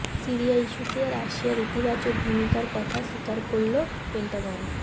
Syria ইস্যুতে রাশিয়ার ইতিবাচক ভূমিকার কথা স্বীকার করল পেন্টাগন